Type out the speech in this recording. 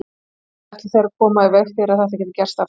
Hvernig ætla þeir að koma í veg fyrir að þetta geti gerst aftur?